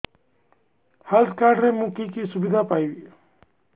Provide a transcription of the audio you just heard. health card ରେ ମୁଁ କି କି ସୁବିଧା ପାଇବି